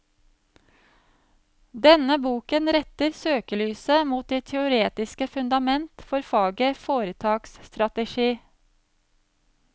Denne boken retter søkelyset mot det teoretiske fundament for faget foretaksstrategi.